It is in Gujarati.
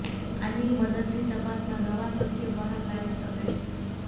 આની મદદથી તપાસમાં નવા તથ્યો બહાર લાવી શકાય છે